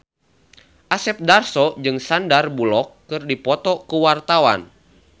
Asep Darso jeung Sandar Bullock keur dipoto ku wartawan